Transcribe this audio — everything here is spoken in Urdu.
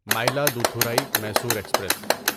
مائلادتھورای میصور ایکسپریس